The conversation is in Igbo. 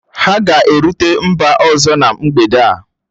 Ha ga-erute mba ọzọ na mgbede a